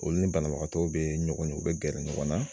Olu ni banabagatɔw be ɲɔgɔn ye u be gɛrɛ ɲɔgɔn na.